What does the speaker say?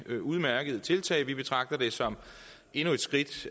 udmærkede tiltag vi betragter det som endnu et skridt